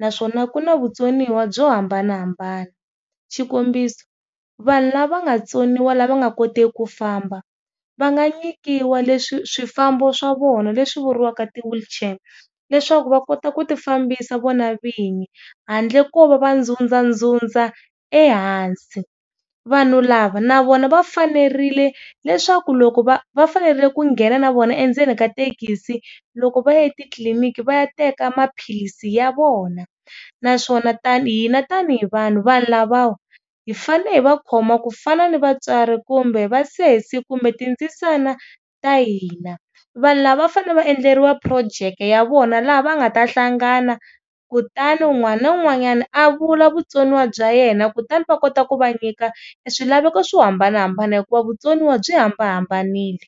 naswona ku na vutsoniwa byo hambanahambana xikombiso, vanhu lava nga tsoniwa lava nga koteki ku famba va nga nyikiwa leswi swifambo swa vona leswi vuriwaka ti wheelchair leswaku va kota ku ti fambisa vona vinyi handle ko va va ndzundza ndzundza ehansi. Vanhu lava na vona va fanerile leswaku loko va va fanerile ku nghena na vona endzeni ka thekisi loko va ya etitliliniki va ya teka maphilisi ya vona. Naswona tani hina tani hi vanhu lavawa hi fanele hi va khoma ku fana ni vatswari kumbe vasesi kumbe tindzisana ta hina. Vanhu lava va fanele vaendleriwa phurojeke ya vona laha va nga ta hlangana kutani wun'wana na wun'wanyana a vula vutsoniwa bya yena kutani va kota ku va nyika swilaveko swo hambanahambana hikuva vutsoniwa byi hambanahambanile.